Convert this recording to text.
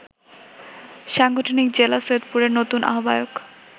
সাংগঠনিক জেলা সৈয়দপুরের নতুন আহ্বায়ক